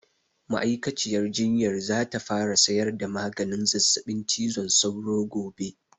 Ma'aikaciyar jinyar za ta fara sayar da maganin zazzaɓin cizon sauro gobe